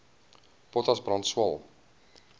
potas brand swael